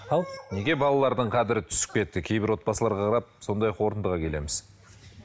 ау неге балалардың қадірі түсіп кетті кейбір отбасыларға қарап сондай қорытындыға келеміз